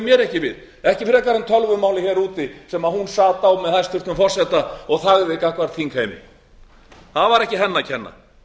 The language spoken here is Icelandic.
mér ekki við ekki frekar en tölvumálið hér úti sem hún sat á með hæstvirtum forseta og þagði gagnvart þingheimi það var ekki henni að kenna